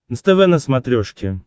нств на смотрешке